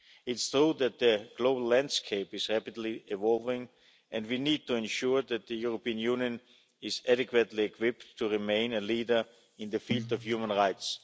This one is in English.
It's true that the global landscape is rapidly evolving and we need to ensure that the European Union is adequately equipped to remain a leader in the field of human rights.